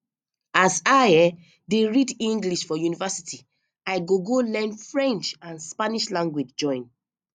as i um dey read english for university i go go learn french and spanish language join